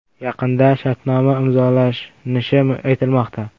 Yaqinda shartnoma imzolanishi aytilmoqda.